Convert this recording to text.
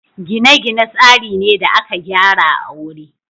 gine-gine tsari ne da aka gyara a wuri